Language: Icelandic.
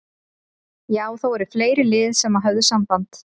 Já það voru fleiri lið sem að höfðu samband.